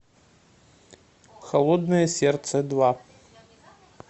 холодное сердце два